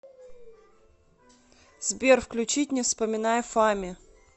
сбер включить не вспоминай фами